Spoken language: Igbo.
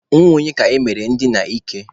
Nwa onye ka emere ndina ike?